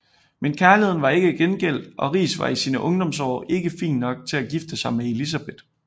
Men kærligheden var ikke gengældt og Riis var i sine ungdomsår ikke fin nok til at gifte sig med Elisabeth